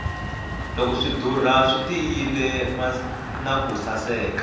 loko swi dura swi tiyile naku saseka